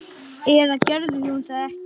Eða gerði hún það ekki?